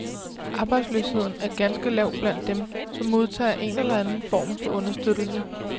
Arbejdsløsheden er ganske lav blandt dem, som modtager en eller anden form for understøttelse.